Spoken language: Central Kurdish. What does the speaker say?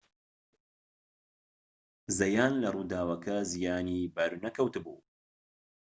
زەیان لە ڕووداوەکە زیانی بەر نەکەوت بوو